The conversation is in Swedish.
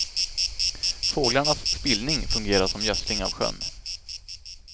Fåglarnas spillning fungerar som gödsling av sjön.